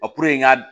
n ka